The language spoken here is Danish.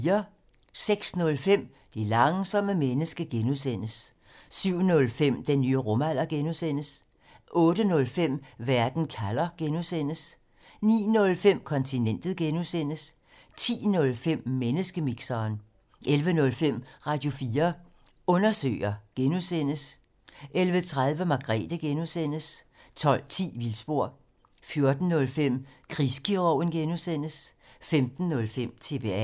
06:05: Det langsomme menneske (G) 07:05: Den nye rumalder (G) 08:05: Verden kalder (G) 09:05: Kontinentet (G) 10:05: Menneskemixeren 11:05: Radio4 Undersøger (G) 11:30: Margrethe (G) 12:10: Vildspor 14:05: Krigskirurgen (G) 15:05: TBA